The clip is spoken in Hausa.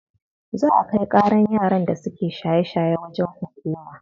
Za a kai ƙaran yaran da suke shaye shaye wajen hukuma.